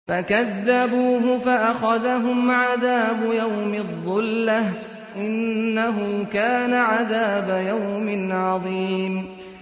فَكَذَّبُوهُ فَأَخَذَهُمْ عَذَابُ يَوْمِ الظُّلَّةِ ۚ إِنَّهُ كَانَ عَذَابَ يَوْمٍ عَظِيمٍ